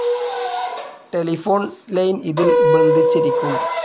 Telephone line ഇതിൽ ബന്ധിച്ചിരിക്കും.